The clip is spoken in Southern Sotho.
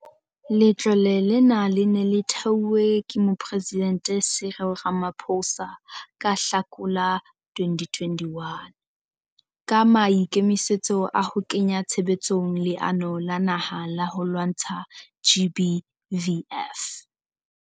Letlole lena le ne le theuhwe ke mopresidente Cyril Ramaphosa ka Hlakola 2021, ka maikemisetso a ho kenya tshebetsong Leano la naha la ho lwantsa GBVF.